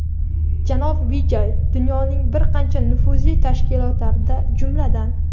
Janob Vijay dunyoning bir qancha nufuzli tashkilotlarida, jumladan:.